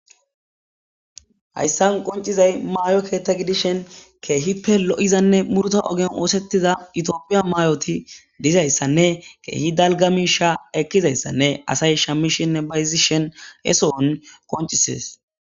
Hayssan qoncizay maayo keetta gidishen keehi pe lo'izanne murta ogen oosettiza itiophiya mayoti dizayssanne keehi dalgamisha ekkizayssanne asay shammishinne bayzishen eso'on qoncisees.